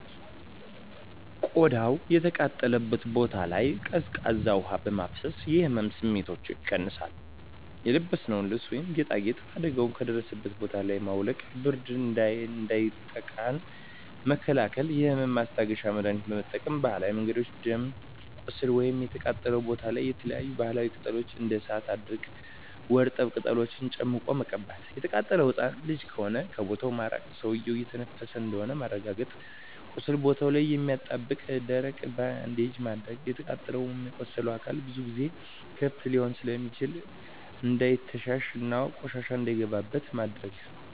ቆዳው የተቃጠለበት ቦታ ላይ ቀዝቃዛ ውሀ በማፍሰስ የህመም ስሜቱን ይቀንሳል :የለበስነውን ልብስ ወይም ጌጣጌጥ አደጋው ከደረሰበት ቦታ ላይ ማውለቅ ብርድ እንዳያጠቃን መከላከል የህመም ማስታገሻ መድሀኒት መጠቀም በባህላዊ መንገድ ደም ቁስሉ ወይም የተቃጠለው ቦታ ላይ የተለያዪ የባህላዊ ቅጠሎች እንደ እሳት አድርቅ ወርጠብ ቅጠሎችን ጨምቆ መቀባት። የተቃጠለው ህፃን ልጅ ከሆነ ከቦታው ማራቅ ሰውዬው እየተነፈሰ እንደሆነ ማረጋገጥ ቁስሉ ቦታ ላይ የማያጣብቅ ደረቅ ባንዴጅ ማድረግ። የተቃጠለው ወይም የቆሰለው አካል ብዙ ጊዜ ክፍት ሊሆን ስለሚችል እንዳይተሻሽ እና ቆሻሻ እንዳይገባበት ማድረግ።